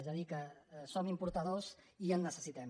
és a dir que som importadors i en necessitem